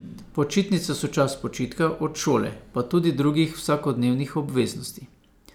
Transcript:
Počitnice so čas počitka od šole pa tudi drugih vsakodnevnih obveznosti.